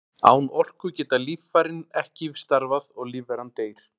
Án orku geta líffærin ekki starfað og lífveran deyr.